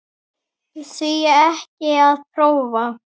Því ekki að prófa?